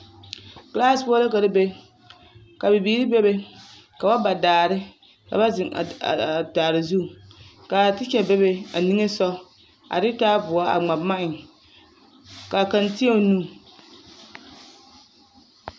Kilaasi poɔ la ka te be, ka bibiiri bebe ka ba daare ka ba zeŋ a daare zu k'a tekya bebe a nimisogɔ a de taaboɔ a ŋma boma eŋ k'a kaŋ tēɛ o nu.